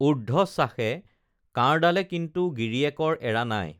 ঊৰ্ধ্বশ্বাসে কাঁড়ডালে কিন্তু গিৰীয়েকৰ এৰা নাই